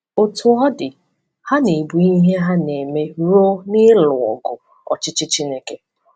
Otú ọ dị, ha na-ebu ihe ha na-eme ruo n’ịlụ ọgụ ọchịchị Chineke.